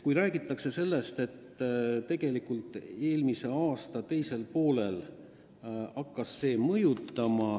On räägitud, et see vahe tegelikult hakkas eriti mõjuma eelmise aasta teisel poolel.